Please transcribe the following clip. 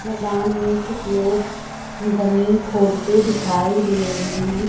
मैदान में कुछ लोग जमीन खोदते दिखाई दे रहे हैं।